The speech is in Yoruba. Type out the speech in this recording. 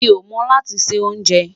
Mí o mo lati ṣe onjè